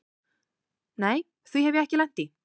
Nei því hef ég ekki lent í.